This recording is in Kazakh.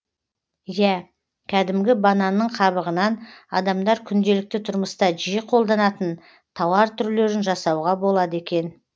иә кәдімгі бананның қабығынан адамдар күнделікті тұрмыста жиі қолданатын тауар түрлерін жасауға болады екен